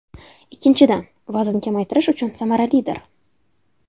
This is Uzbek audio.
Ikkinchidan, vazn kamaytirish uchun samaralidir.